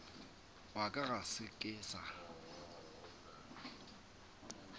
wa ka ga ke sa